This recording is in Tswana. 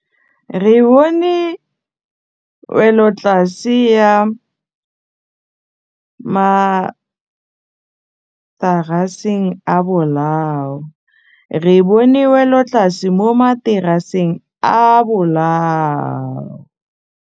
Re bone wêlôtlasê mo mataraseng a bolaô.